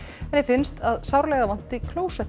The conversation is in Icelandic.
henni finnst að sárlega vanti